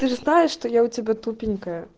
ты же знаешь что я у тебя тупенькая